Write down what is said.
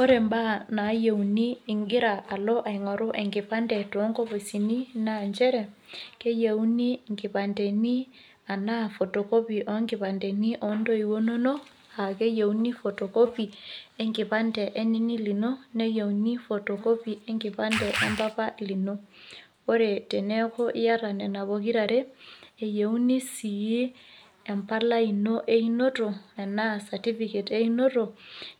Ore imbaa naiyeuni ingira alo aingoru enkipande too nkopisini naa nchere keyeuni nkipandeni anaa photocopy oo nkipandeni oo ndoiye inonok ake iyeu photocopy e nkipande e nini lino , naiyeuni photocopy e nkipande e mpampa lino. Ore teniaku iata Nena pokira are , keyeuni sii empala einoto anaa certificate einoto ,